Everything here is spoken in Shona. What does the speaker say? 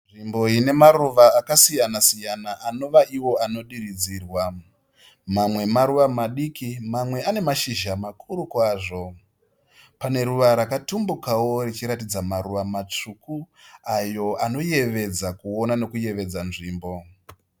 Nzvimbo ine maruva akasiyana anova iwo anodiridzirwa. Mamwe maruva madiki, mamwe ane mashizha makuru kwazvo. Pane ruva rakatumbukawo richiratidza maruva matsvuku ayo anoyevedza kuona nekuyevedza nzvimbo.